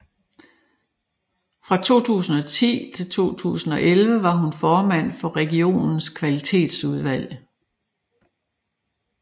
Fra 2010 til 2011 var hun formand for regionens kvalitetsudvalg